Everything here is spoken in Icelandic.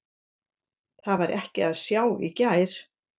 Það var ekki að sjá í gær.